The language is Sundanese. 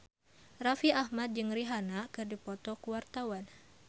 Raffi Ahmad jeung Rihanna keur dipoto ku wartawan